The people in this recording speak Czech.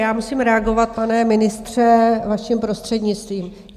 Já musím reagovat, pane ministře, vaším prostřednictvím.